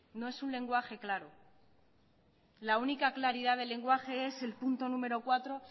no es un lenguaje claro la única claridad del lenguaje es el punto número cuatro